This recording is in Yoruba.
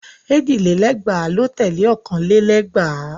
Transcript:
Èjì lé lẹ́gbàá ló tẹ̀lé ọ̀kàn lé lẹ́gbàá.